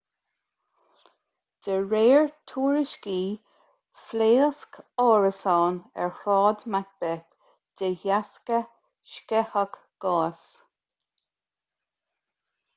de réir tuairiscí phléasc árasán ar shráid macbeth de dheasca sceitheadh gáis